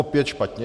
Opět špatně.